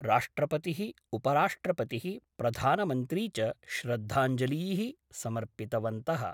राष्ट्रपतिः उपराष्ट्रपतिः प्रधानमन्त्री च श्रद्धांजलीः समर्पितवन्तः।